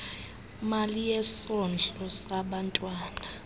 mali yesondlo sabantwana